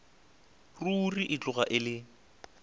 ruri e tloga e le